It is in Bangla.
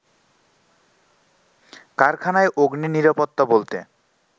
কারখানায় অগ্নি-নিরাপত্তা বলতে